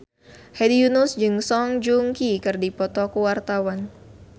Hedi Yunus jeung Song Joong Ki keur dipoto ku wartawan